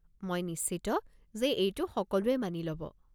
মই নিশ্চিত যে এইটো সকলোৱে মানি ল'ব।